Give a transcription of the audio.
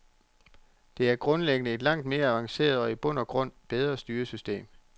Det er grundlæggende et langt mere avanceret og i bund og grund bedre styresystem.